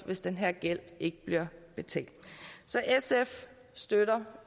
hvis den her gæld ikke bliver betalt så sf støtter